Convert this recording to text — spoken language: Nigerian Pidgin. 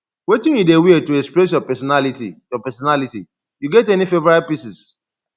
wetin you dey wear to express your pesinality your pesinality you get any favorite pieces